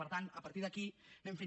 per tant a partir d’aquí anem fent